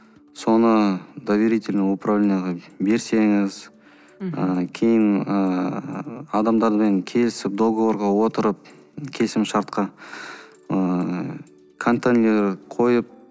соны доверительный управленияға берсеңіз ы кейін ыыы адамдармен келісіп договорға отырып келісімшартқа ыыы контейнер қойып